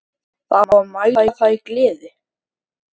Það á að mæla það í gleði.